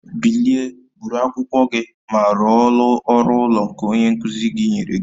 Bilie, buru akwụkwọ gị ma rụọ ọrụ ụlọ nke onye nkuzi gị nyere gị